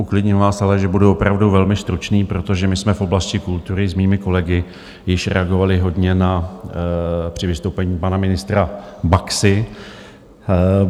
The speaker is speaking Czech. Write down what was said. Uklidním vás ale, že budu opravdu velmi stručný, protože my jsme v oblasti kultury s mými kolegy již reagovali hodně při vystoupení pana ministra Baxy.